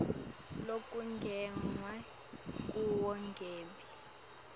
lokungenwe kuwo ngembi